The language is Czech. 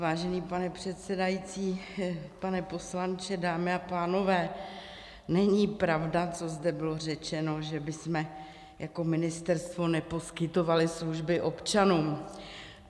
Vážený pane předsedající, pane poslanče, dámy a pánové, není pravda, co zde bylo řečeno, že bychom jako ministerstvo neposkytovali služby občanům.